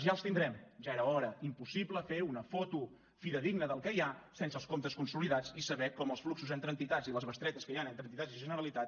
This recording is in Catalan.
ja els tindrem ja era hora impossible fer una foto fidedigna del que hi ha sense els comptes consolidats i saber com els fluxos entre entitats i les bestretes que hi han entre entitats i generalitat